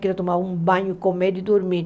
Quero tomar um banho, comer e dormir.